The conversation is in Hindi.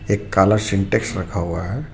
एक काला सिंटेक्स रखा हुआ है.